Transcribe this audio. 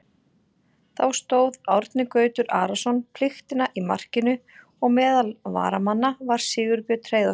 Þá stóð Árni Gautur Arason pliktina í markinu og meðal varamanna var Sigurbjörn Hreiðarsson.